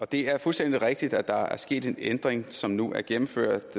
det er fuldstændig rigtigt at der er sket en ændring af udlændingeloven som nu er gennemført